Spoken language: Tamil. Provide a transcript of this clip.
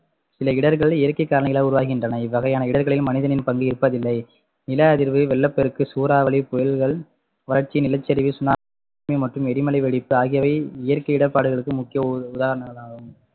சில இடர்கள் இயற்கை காரணிகளால் உருவாகின்றன இவ்வகையான இடர்களில் மனிதனின் பங்கு இருப்பதில்லை நில அதிர்வு, வெள்ளப்பெருக்கு, சூறாவளி, புயல்கள், வறட்சி, நிலச்சரிவு, சுனாமி மற்றும் எரிமலை வெடிப்பு ஆகியவை இயற்கை இடர்பாடுகளுக்கு முக்கிய உ~ உதாரணங்களாகும்